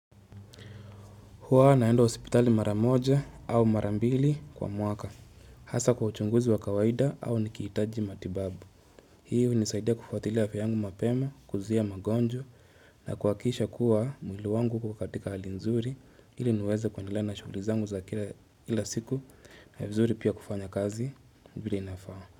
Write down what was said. Huwa naenda wa hospitali mara moja au mara mbili kwa mwaka. Hasa kwa uchunguzi wa kawaida au nikihitaji matibabu. Hii unizaidia kufuatilia afya yangu mapema, kuzia magojwa na kuhakikisha kuwa mwili wangu uko katika hali nzuri ili niweze kuendelea na shuguli zangu za kila siku ni vizuri pia kufanya kazi vile inafaa.